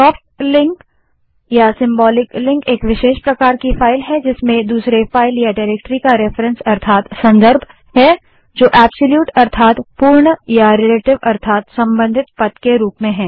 soft link एक विशेष प्रकार की फाइल है जिसमें दूसरे फाइल या डाइरेक्टरी का रेफरेंस अर्थात संदर्भ है जो पूर्ण या रिलेटिव अर्थात संबंधित पाथ के रूप में है